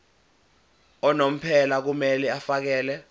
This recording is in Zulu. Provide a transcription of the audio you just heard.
unomphela kumele afakele